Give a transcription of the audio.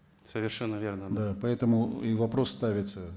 совершенно верно да поэтому и вопрос ставится